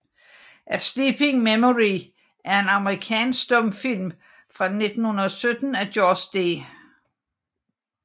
A Sleeping Memory er en amerikansk stumfilm fra 1917 af George D